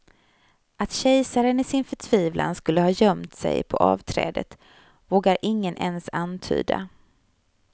Att kejsaren i sin förtvivlan skulle ha gömt sig på avträdet vågar ingen ens antyda.